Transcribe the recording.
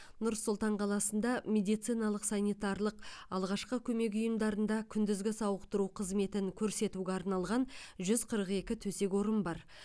нұр сұлтан қаласында медициналық санитарлық алғашқы көмек ұйымдарында күндізгі сауықтыру қызметін көрсетуге арналған жүз қырық екі төсек орын бар